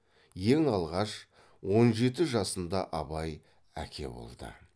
ең алғаш он жеті жасында абай әке болды